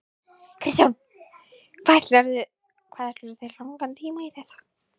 Kristján: Hvað ætlarðu þér langan tíma í þetta?